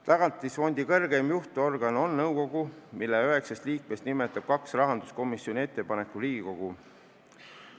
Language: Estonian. Tagatisfondi kõrgeim juhtorgan on nõukogu, mille üheksast liikmest kaks nimetab rahanduskomisjoni ettepanekul Riigikogu.